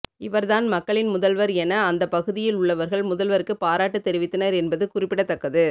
இவர்தான் மக்களின் முதல்வர் என அந்த பகுதியில் உள்ளவர்கள் முதல்வருக்கு பாராட்டு தெரிவித்தனர் என்பது குறிப்பிடத்தக்கது